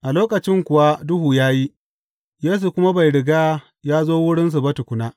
A lokacin kuwa duhu ya yi, Yesu kuma bai riga ya zo wurinsu ba tukuna.